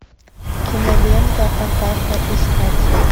кинолента атака искать